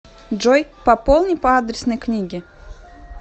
джой пополни по адресной книге